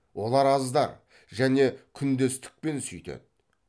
олар аздар және күндестікпен сүйтеді